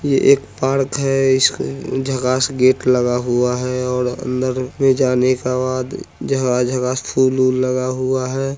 ये एक पार्क है जिसमे झकाश गेट लगा हुआ है और अंदर मे जाने के बाद झकाश-झकाश फूल ऊल लगा हुआ है।